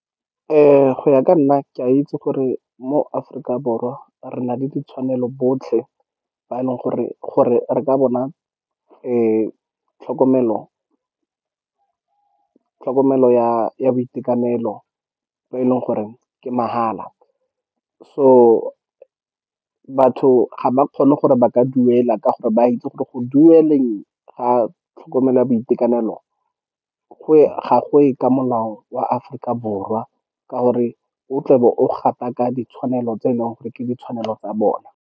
Go ya ka nna, ke a itse gore mo Aforika Borwa re na le ditshwanelo botlhe ba e leng gore re ka bona tlhokomelo ya boitekanelo, bo e leng gore ke mahala. So, batho ga ba kgone gore ba ka duela, ka gore ba itse gore go dueleng ga tlhokomelo ya boitekanelo ga goye ka molao wa Aforika Borwa, ka gore o tlabe o gataka ditshwanelo tse e leng gore ke ditshwanelo tsa bona.